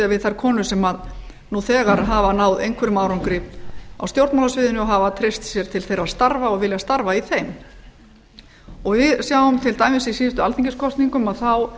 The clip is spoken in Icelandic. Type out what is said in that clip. við þær konur sem nú þegar hafa náð einhverjum árangri á stjórnmálasviðinu og hafa treyst sér til þeirra starfa og vilja starfa í þeim við sjáum til dæmis að í síðustu alþingiskosningum þá